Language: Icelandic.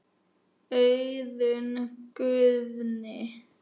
Auðunn Guðni.